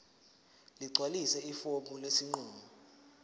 ligcwalise ifomu lesinqumo